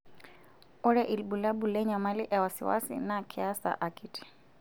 Ore ilbulabul lenyamali e wasiwasi naa keasa akiti.